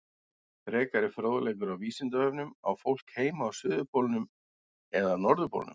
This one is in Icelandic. Frekari fróðleikur á Vísindavefnum Á fólk heima á suðurpólnum eða norðurpólnum?